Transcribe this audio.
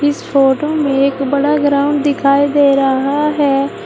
इस फोटो में एक बड़ा ग्राउंड दिखाई दे रहा है।